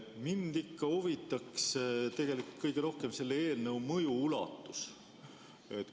Mind ikka huvitaks tegelikult kõige rohkem selle eelnõu mõju ulatus.